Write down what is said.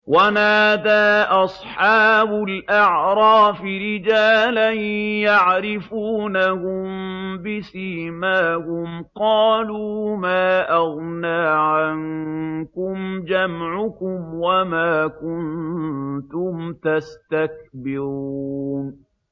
وَنَادَىٰ أَصْحَابُ الْأَعْرَافِ رِجَالًا يَعْرِفُونَهُم بِسِيمَاهُمْ قَالُوا مَا أَغْنَىٰ عَنكُمْ جَمْعُكُمْ وَمَا كُنتُمْ تَسْتَكْبِرُونَ